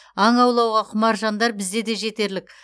аң аулауға құмар жандар бізде де жетерлік